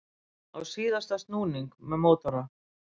Á síðasta snúning með mótora